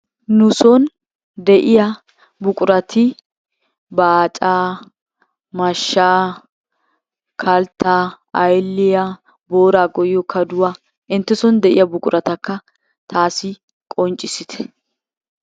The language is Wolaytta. Nuson de'iya buqurati baacaa, mashshaa, kalttaa, ayilliya, booraa goyyiyo kaduwa intteson de'iya buquratakka taassi qonccissite.